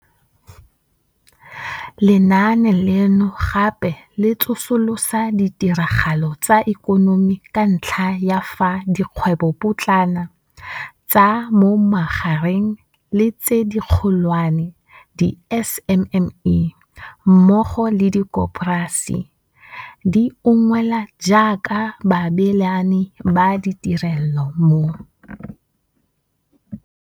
Lenaane leno gape le tsosolosa ditiragalo tsa ikonomi ka ntlha ya fa dikgwebopotlana, tsa mo magareng le tse dikgolwane, di-SMME, mmogo le dikoporasi di ungwelwa jaaka baabelani ba ditirelo mo